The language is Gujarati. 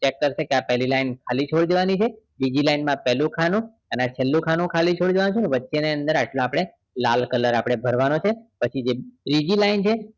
vector પેલી line ખાલી છોડી દેવાની છે બીજી line માં પેલું ખાનું અને છેલ્લું ખાનું છોડી દેવાનું છે વચ્ચે ના અંદર આપણે લાલ રંગ ભરવાનો છે પછી જે ત્રીજી line